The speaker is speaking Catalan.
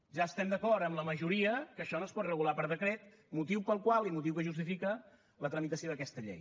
ja estem d’acord amb la majoria que això no es pot regular per decret motiu pel qual i motiu que justifica la tramitació d’aquesta llei